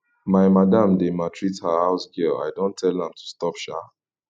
my madam dey maltreat her house girl i don tell am to stop shaa